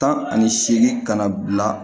Tan ani seegin kana bila